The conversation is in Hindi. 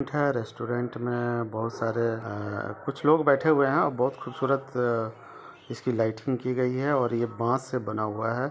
रेस्टोरेंट मे बहोत सारे अ-अ-कुछ लोग बैठे हुए हैं और बहुत खूबसूरत-अ इसकी लाइटिंग की गई है और ये बांस से बना हुआ है।